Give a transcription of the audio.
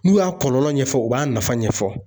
N'u y'a kɔlɔlɔ ɲɛfɔ u b'a nafa ɲɛfɔ